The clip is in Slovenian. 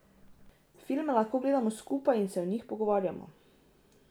Filme lahko gledamo skupaj in se o njih pogovarjamo.